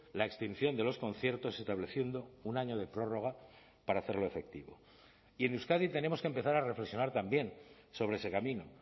la extinción de los conciertos estableciendo un año de prórroga para hacerlo efectivo y en euskadi tenemos que empezar a reflexionar también sobre ese camino